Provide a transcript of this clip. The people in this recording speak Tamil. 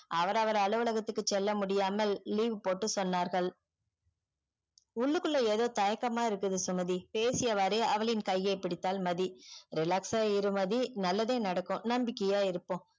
அவரு அவர அலுவலகத்துக்கு செல்ல முடியாமல் leave போட்டு சொன்னார்கள் உள்ளுக்குள்ள ஏதோ தயக்கம்மா இருக்குது சுமதி பேசியவாறே அவளின் கையே பிடித்தால் மதி relax அஹ் இரு மதி நல்லதே நடக்கும் நம்பிகையா இருப்போம்